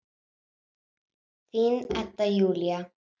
Þín, Edda Júlía.